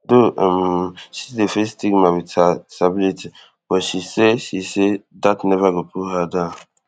though um she still dey face stigma wit her disability but she say she say dat neva go pull her down